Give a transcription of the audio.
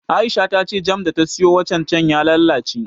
Aisha ta ce jam da ta siyo watan can ya lalace